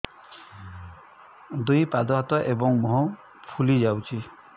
ଦୁଇ ପାଦ ହାତ ଏବଂ ମୁହଁ ଫୁଲି ଯାଉଛି